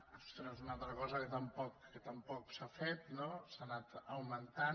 ostres una altra cosa que tampoc s’ha fet no s’ha anat augmentant